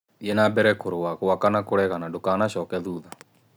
Thiĩ na mbere kũrũa, gwaka na kuregana; ndũkanacoke thutha.